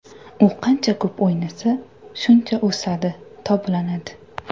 U qancha ko‘p o‘ynasa, shuncha o‘sadi, toblanadi.